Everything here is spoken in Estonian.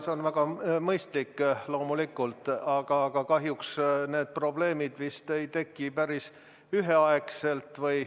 See on väga mõistlik, loomulikult, aga kahjuks need probleemid vist ei teki päris üheaegselt.